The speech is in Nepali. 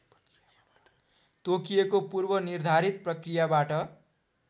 तोकिएको पूर्वनिर्धारित प्रक्रियाबाट